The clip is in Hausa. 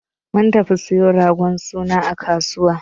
Mun tafi siyo ragon suna a kasuwa.